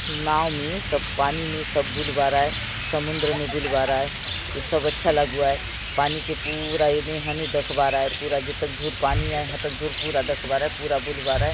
नांव मे सब पानी मे सब बुल बार आय समुंदर मे बुल बर आय ये सब अच्छा लगुआय पानी के पूरा एदे हने देखे बर आय पूरा जेतक दूर पानी आय हतक दूर पूरा दख बर आय पूरा बुल बार आय।